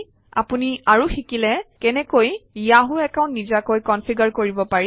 আপুনি আৰু শিকিলে কেনেকৈ য়াহু একাউণ্ট নিজাকৈ কনফিগাৰ কৰিব পাৰি